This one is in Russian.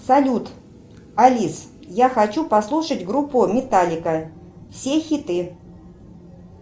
салют алис я хочу послушать группу металлика все хиты